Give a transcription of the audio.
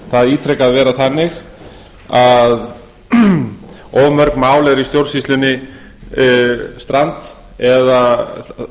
það ítrekað vera þannig að of mörg mál eru í stjórnsýslunni strand eða